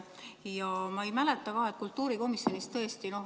Ja ma ei mäleta ka, et kultuurikomisjonis oleks seda arutatud.